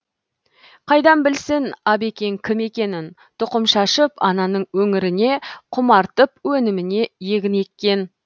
қайдан білсін абекең кім екенін тұқым шашып ананың өңіріне құмартып өніміне егін еккен